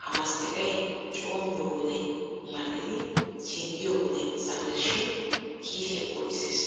Ha masttiqay coommiyo wode mal"idi singgiyo wode saweesi shin kiisiya booxissees.